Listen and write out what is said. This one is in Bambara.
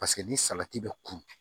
Paseke ni salati bɛ kun